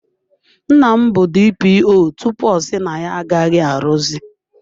Nna m bụ DPO tupu ọ si na ya agaghị arụzi.